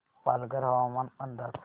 पालघर हवामान अंदाज